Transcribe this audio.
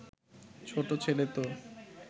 ছোট ছেলে তো